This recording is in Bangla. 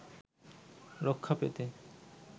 রক্ষা পেতে